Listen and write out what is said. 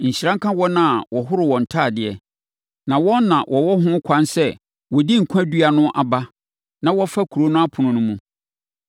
“Nhyira nka wɔn a wɔhoro wɔn ntadeɛ, na wɔn na wɔwɔ ho ɛkwan sɛ wɔdi nkwa dua no aba na wɔfa kuro no ɛpono no mu.